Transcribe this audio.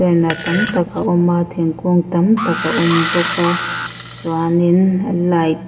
tam tak a awm a thingkung tam tak a awm bawk a chuan in light --